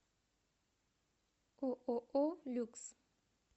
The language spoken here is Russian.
ооо люкс